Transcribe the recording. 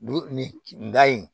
Dugu nin da in